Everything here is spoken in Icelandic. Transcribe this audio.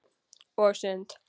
Og sund.